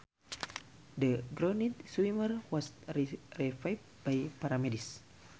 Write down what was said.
The drowned swimmer was revived by paramedics